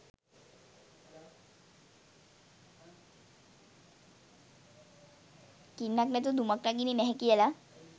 ගින්නක් නැතුව දුමක් නගින්නේ නැහැ කියලා?